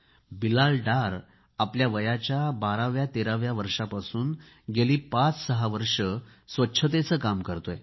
बिलाल डार आपल्या वयाच्या 1213 व्या वर्षापासून गेली पाचसहा वर्षे स्वच्छतेचे काम करतोय